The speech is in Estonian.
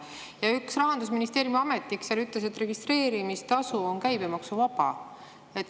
Ja üks Rahandusministeeriumi ametnik ütles, et registreerimistasu on käibemaksuvaba.